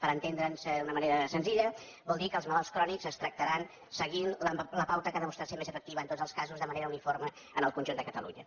per entendre’ns d’una manera senzilla vol dir que els malalts crònics es tractaran seguint la pauta que ha demostrat ser més efectiva en tots els casos de manera uniforme en el conjunt de catalunya